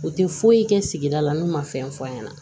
U tɛ foyi kɛ sigida la n'u ma fɛn fɔ an ɲɛna